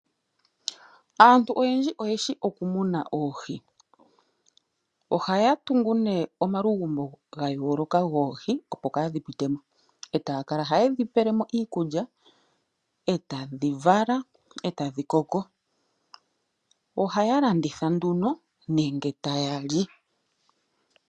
Aantu oyendji oyeshi okumuna oohi ohaya tungu ne omalugumbo ga yooloka goohi opo kaadhi pitemo e taya kala haye dhi pelemo iikulya e tadhi vala e tadhi koko ohaya landitha nduno nenge taya li.